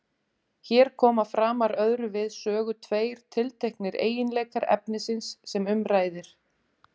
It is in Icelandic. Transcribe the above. Hér koma framar öðru við sögu tveir tilteknir eiginleikar efnisins sem um ræðir.